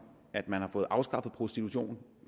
at man har fået afskaffet prostitution